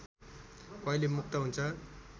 कहिले मुक्त हुन्छ